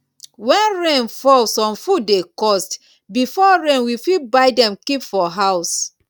when rain fall some food dey cost before rain we fit buy dem keep for house